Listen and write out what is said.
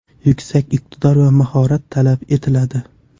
Yuksak iqtidor va mahorat talab etiladi.